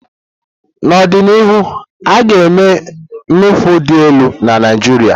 N'ọdịnihu, a ga-eme nufulu dị elu na Naijiria.